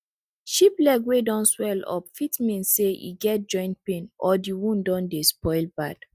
sheep leg wey don swellup fit mean say e get joint pain or di wound don dey spoil bad